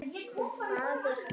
Og faðir hans?